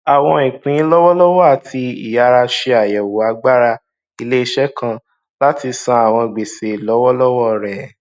àwọn ìpín lọwọlọwọ àti ìyára ṣe àyẹwò agbára iléiṣẹ kan láti san àwọn gbèsè lọwọlọwọ rẹ